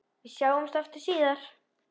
Við sjáumst aftur síðar.